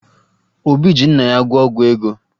Obi ji nna ya gwọọ ọgwụ ego